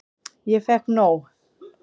Ég fékk nóg.